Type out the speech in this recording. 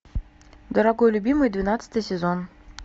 дорогой любимый двенадцатый сезон